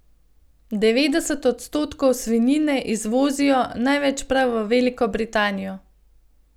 Devetdeset odstotkov svinjine izvozijo, največ prav v Veliko Britanijo.